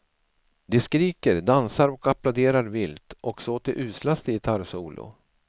De skriker, dansar och applåderar vilt också åt det uslaste gitarrsolo.